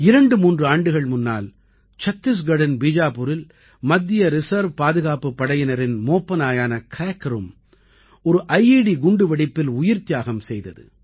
23 ஆண்டுகள் முன்னால் சத்திஸ்கட்டின் பீஜாபுரில் மத்திய ரிசர்வ் பாதுகாப்புப் படையினரின் மோப்ப நாயான Crackerம் ஒரு ஐட் குண்டு வெடிப்பில் உயிர்த்தியாகம் செய்தது